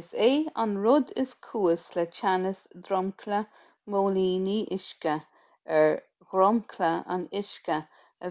is é an rud is cúis le teannas dromchla móilíní uisce ar dhromchla an uisce